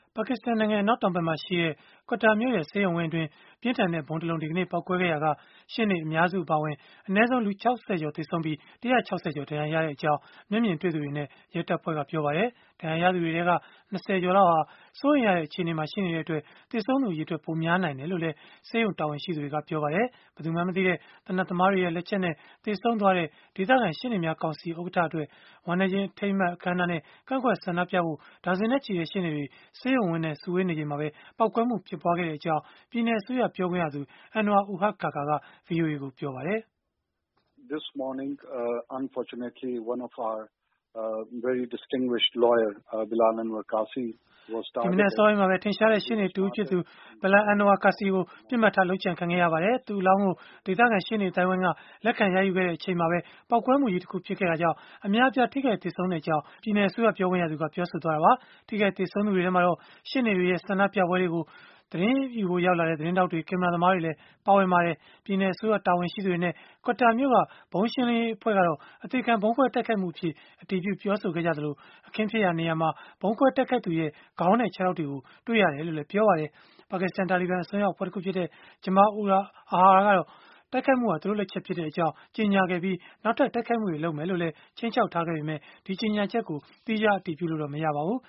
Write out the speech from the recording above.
ပါကစ္စတန်နိုင်ငံ အနောက်တောင်ဘက်မှာရှိတဲ့ Quetta မြို့ရဲ့ ဆေးရုံဝင်းအတွင်း ပြင်းထန်တဲ့ဗုံးတလုံး ဒီကနေ့ ပေါက်ကွဲခဲ့ရာက ရှေ့နေအများစု အပါအဝင် အနည်းဆုံး လူပေါင်း ၆၀ ကျော် သေဆုံးပြီး၊ ၁၆၀ ကျော် ဒဏ်ရာရခဲ့ကြောင်း မျက်မြင်တွေ့သူတွေနဲ့ ရဲတပ်ဖွဲ့က ပြောပါတယ်။ ဒဏ်ရာရသူတွေထဲက ၂၀ ကျော်လောက်ဟာ စိုးရိမ်ရတဲ့ အခြေအနေမှာ ရှိနေတဲ့အတွက် သေဆုံးသူ အရေအတွက် ပိုများနိုင်တယ်လို့လည်း ဆေးရုံတာဝန်ရှိသူတွေက ပြောပါတယ်။ ဘယ်သူမှန်းမသိတဲ့ သေနတ်သမားတွေရဲ့ လက်ချက်နဲ့ သေဆုံးသွားတဲ့ ဒေသခံ ရှေ့နေများကောင်စီဥက္ကဋ္ဌအတွက် ဝမ်းနည်းခြင်းအထိမ်းအမှတ် အခမ်းအနားနဲ့ ကန့်ကွက်ဆန္ဒပြဖို့ ဒါဇင်နဲ့ချီတဲ့ ရှေ့နေတွေ ဆေးရုံဝင်းထဲမှာ စုဝေးနေချိန်မှာပဲ ပေါက်ကွဲမှု ဖြစ်ပွားခဲ့တဲ့အကြောင်း ပြည်နယ်အစိုးရ ပြောခွင့်ရသူ Anwar ul-Haq Kakar က ဗွီအိုအေကို ပြောပါတယ်။ ဒီမနက်အစောပိုင်းမှာပဲ ထင်ရှားတဲ့ရှေ့နေတဦးဖြစ်သူ Bilal Anwar Kasi ကို ပစ်မှတ်ထား လုပ်ကြံခံခဲ့ရပါတယ်။ သူ့အလောင်းကို ဒေသခံ ရှေ့နေအသိုင်းအဝိုင်းက လက်ခံရယူခဲ့တဲ့ အချိန်မှာပဲ ပေါက်ကွဲမှုကြီးတခု ဖြစ်ခဲ့တာကြောင့် အများအပြား ထိခိုက်သေဆုံးခဲ့ရတဲ့အကြောင်း ပြည်နယ်အစိုးရ ပြောခွင့်ရသူက ပြောဆိုခဲ့တာပါ။ ထိခိုက်သေဆုံးသူတွေထဲမှာတော့ ရှေ့နေတွေရဲ့ ဆန္ဒပြပွဲကို သတင်းယူဖို့ ရောက်လာကြတဲ့ သတင်းထောက်တွေ၊ ကင်မရာသမားတွေလည်း ပါဝင်ခဲ့ကြပါတယ်။ ပြည်နယ်အစိုးရတာဝန်ရှိသူတွေနဲ့ Quetta မြို့က ဗုံးရှင်းလင်းရေးအဖွဲ့ကတော့ အသေခံဗုံးခွဲတိုက်ခိုက်မှုအဖြစ် အတည်ပြုပြောဆိုခဲ့ကြသလို၊ အခင်းဖြစ်ပွားရာနေရာမှာ ဗုံးခွဲတိုက်ခိုက်သူရဲ့ ခေါင်းနဲ့ ခြေထောက်တွေကို တွေ့ရတယ်လို့လည်း ပြောပါတယ်။ ပါကစ္စတန် တာလီဘန် အစွန်းရောက် အဖွဲ့ခွဲတခုဖြစ်တဲ့ Jamaat-ul-Ahrar ကတော့ တိုက်ခိုက်မှုဟာ သူတို့လက်ချက် ဖြစ်ကြောင်း ကြေညာခဲ့ပြီး နောက်ထပ် တိုက်ခိုက်မှုတွေ လုပ်မယ်လို့လည်း ခြိမ်းခြောက်ထားပေမဲ့၊ ကြေညာချက်ကို သီးခြား အတည်ပြုလို့တော့ မရပါဘူး